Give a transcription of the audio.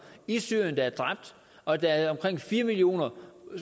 i syrien er dræbt og at der er omkring fire millioner